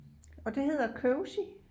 Og det hedder kogesild